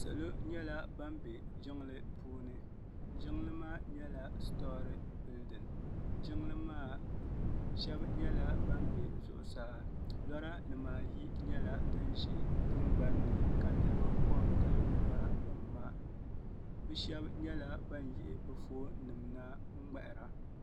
Salɔ nyala ban be jiŋli puuni. jiŋli maa nyɛla storey bilding. jiŋli maa shebi nyɛla ban be zuɣusaa ka lɔɔri diba ayi nyɛla din ʒɛ tiŋgbanni. ka niribi kongili lɔranim maa. bɛ shebi nyɛla ban yihi bɛ fɔn nimna n mŋahira.